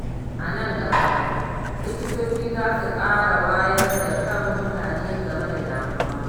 A nan gaba, likitoci za su ƙara wayar da kan mutane game da damuwa.